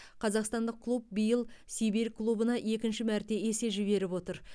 қазақстандық клуб биыл сибирь клубына екінші мәрте есе жіберіп отыр